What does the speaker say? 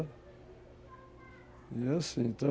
E, assim, então...